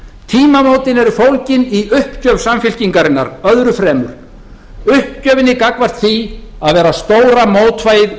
tímamótin eru fólgin í uppgjöf samfylkingarinnar öðru fremur uppgjöfinni gagnvart því að vera stóra mótvægið